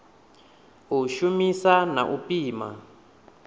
u shumisa na u pima